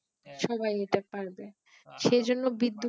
সবাই এটা পারবে সেজন্য বিদ্যুৎ